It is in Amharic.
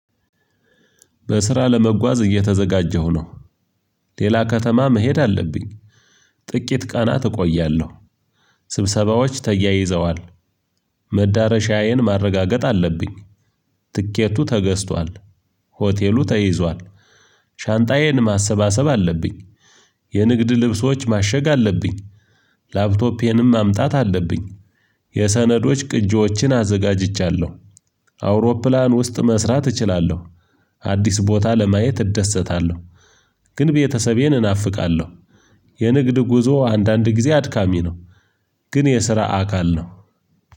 በስራ ለመጓዝ እየተዘጋጀሁ ነው። ሌላ ከተማ መሄድ አለብኝ። ጥቂት ቀናት እቆያለሁ ስብሰባዎች ተያይዘዋል መዳረሻዬን ማረጋገጥ አለብኝ ትኬቱ ተገዝቷል ሆቴሉ ተይዟል። ሻንጣዬን ማሰባሰብ አለብኝ የንግድ ልብሶች ማሸግ አለብኝ። ላፕቶፔንም ማምጣት አለብኝ የሰነዶች ቅጂዎችን አዘጋጅቻለሁ አውሮፕላን ውስጥ መስራት እችላለሁ። አዲስ ቦታ ለማየት እደሰታለሁ ግን ቤተሰቤን እናፍቃለሁ የንግድ ጉዞ አንዳንድ ጊዜ አድካሚ ነው ግን የስራ አካል ነው